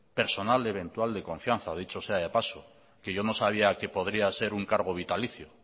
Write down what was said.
personal y eventual de confianza dicho sea de paso que yo no sabía que podría ser un cargo vitalicio